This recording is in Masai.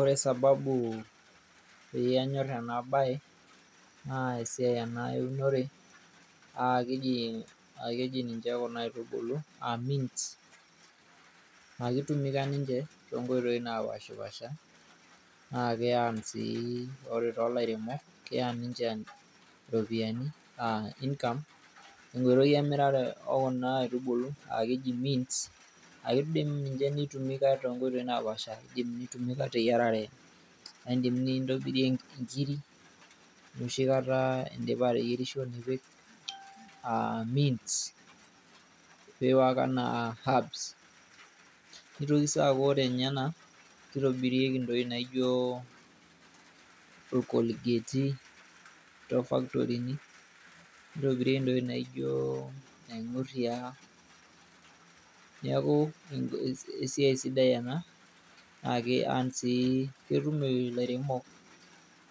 Ore sababu peyie anyor enabae, naa esiai ena eunore, ah keji ninche kuna aitubulu ah mins akitumika ninche, tonkoitoii napashipasha. Na ki earn si ore tolairemok, na ki earn iropiyiani enaa income, tenkoitoi emirare ekuna aitubulu, akeji mins. Idim ninche ni tumika tonkoitoii napaasha. Idim ai tumika teyiarare, na idim nintobirie inkiri, enoshi kata idipa ateyierisho nipik ah mins ,pi work enaa apps. Nitoki si aku ore nye ena, kitobirieki ntokiting' naijo ilkolgeti, tofaktorini, nitobirieki ntokiting' naijo naing'urria. Neeku esiai sidai ena, ake antii ketum ilairemok